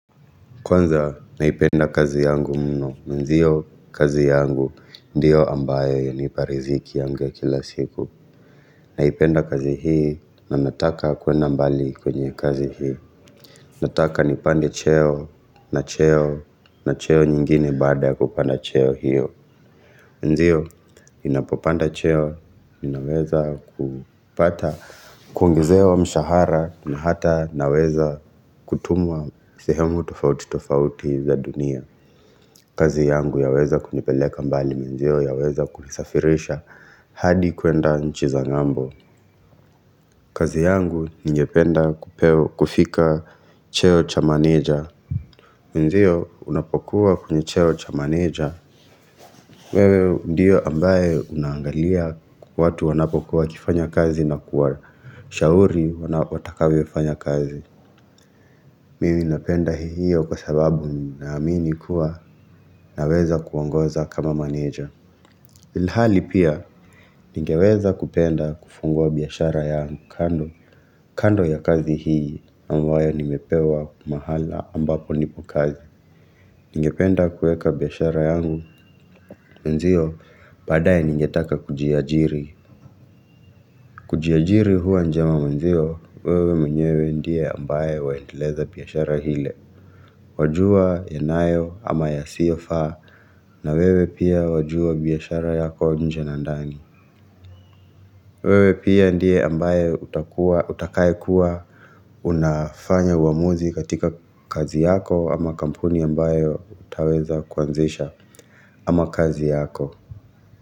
Kwanza naipenda kazi yangu mno. Nziyo kazi yangu ndiyo ambayo hiunipa riziki yangu ya kila siku. Naipenda kazi hii na nataka kuenda mbali kwenye kazi hii. Nataka nipande cheo na cheo na cheo nyingine baada ya kupanda cheo hiyo. Ndiyo, inapopanda cheo inaweza kupata kuongezewa mshahara na hata naweza kutumwa sehemu tofauti tofauti za dunia. Kazi yangu yaweza kunipeleka mbali menzio yaweza kunisafirisha hadi kuenda nchi za ng'ambo kazi yangu ningependa kupep kufika cheo cha manager. Menzio unapokuwa kwenye cheo cha manager wewe ndiyo ambaye unaangalia watu wanapokuwa wakifanya kazi na kuwashauri watakavyofanya kazi Mimi napenda hiyo kwa sababu naamini kuwa naweza kuongoza kama manager. Ilhali pia ningeweza kupenda kufungua biashara yangu kando ya kazi hii ambayo nimepewa mahala ambapo nipo kazi. Ningependa kuweka biashara yangu mwenzio baadaye ningetaka kujiajiri. Kujiajiri huwa njema mwenzio wewe mwenyewe ndiye ambaye waendeleza biashara ile. Wajua yanayo ama yasiofaa na wewe pia wajua biashara yako nje na ndani. Wewe pia ndiye ambaye utakuwa utakaye kuwa Unafanya uamuzi katika kazi yako ama kampuni ambayo utaweza kuanzisha ama kazi yako.